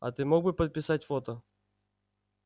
а ты мог бы подписать фото